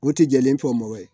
O tɛ jɛlen fɔ mɔ ye